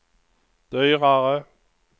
dyrare